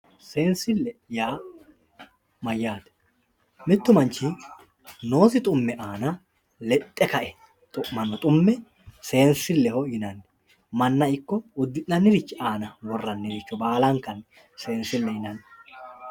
seensille yaa mayaate mittu manch noosi dhumme aana ledhe ka"e dhu'manno dhumme seensilleho yinanni manna ikko udi'nannirich aana worraniricho baalankanni seeneilleho yinanni